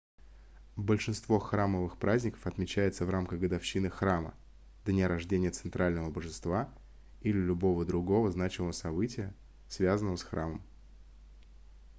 большинство храмовых праздников отмечается в рамках годовщины храма дня рождения центрального божества или любого другого значимого события связанного с храмом